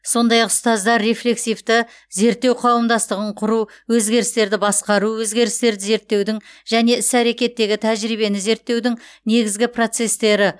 сондай ақ ұстаздар рефлексивті зерттеу қауымдастығын құру өзгерістерді басқару өзгерістерді зерттеудің және іс әрекеттегі тәжірибені зерттеудің негізгі процестері